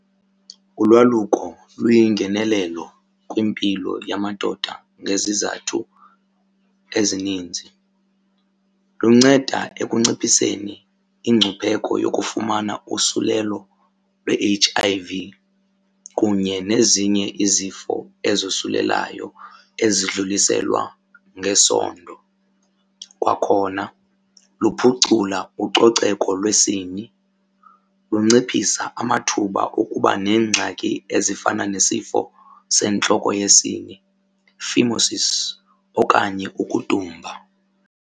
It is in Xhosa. Ulwaluko luyingenelelo kwimpilo yamadoda ngezizathu ezininzi. Lunceda ekunciphiseni ingcupheko yokufumana usulelo lwe-H_I_V kunye nezinye izifo ezosulelayo ezidluliselwa ngesondo. Kwakhona luphucula ucoceko lwesini, lunciphisa amathuba okuba neengxaki ezifana nesifo sentloko yesini phimosis okanye ukudumba.